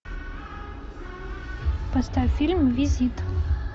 поставь фильм визит